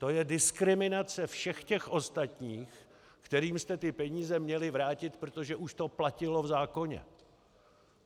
To je diskriminace všech těch ostatních, kterým jste ty peníze měli vrátit, protože už to platilo v zákoně.